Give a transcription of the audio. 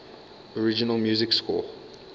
original music score